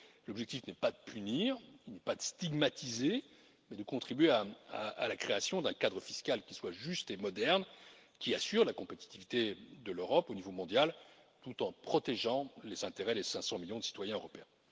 L'objectif n'est pas de punir, il n'est pas de stigmatiser, mais de contribuer à la création d'un cadre fiscal qui soit juste et moderne, qui assure la compétitivité de l'Europe au niveau mondial, tout en protégeant les intérêts des 500 millions de citoyens européens.